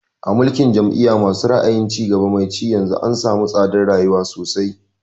A mulkin jam'iya ma su ra'ayin cigaba mai ci yanzu an samu tsadar rayuwa sosai